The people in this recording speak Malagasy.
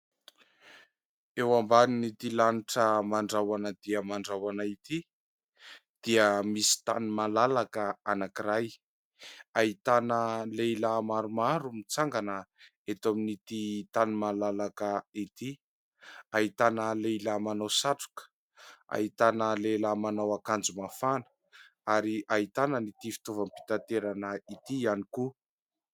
Eo ambanin' ity lanitra mandrahona dia mandrahona ity dia misy tany malalaka anankiray, ahitana lehilahy maromaro mitsangana eto amin'ity tany malalaka ity, ahitana lehilahy manao satroka, ahitana lehilahy manao akanjo mafana ary ahitana ity fitaovam-pitaterana ity ihany koa.